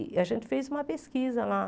E a gente fez uma pesquisa lá.